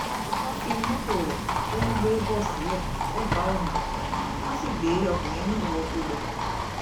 wọ́n fi mọ́tò rẹ̀ tó ń gbé bọ́ sílẹ̀ sẹ́bà ọ̀nà wọ́n sì gbé ọkùnrin náà wọgbó lọ